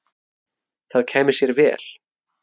Það kæmi sér vel.